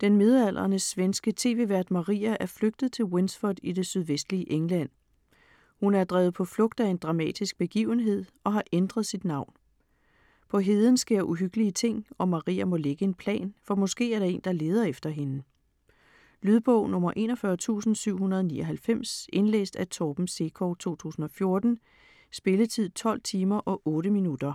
Den midaldrende svenske tv-vært Maria er flygtet til Winsford i det sydvestlige England. Hun er drevet på flugt af en dramatisk begivenhed og har ændret sit navn. På heden sker uhyggelige ting, og Maria må lægge en plan, for måske er der en, der leder efter hende. Lydbog 41799 Indlæst af Torben Sekov, 2014. Spilletid: 12 timer, 8 minutter.